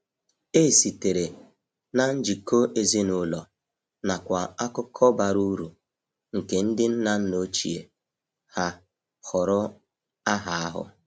E sitere na njikọ ezinụlọ nakwa akụkọ bara uru nke ndi nna nna ochie ha họrọ aha ahụ.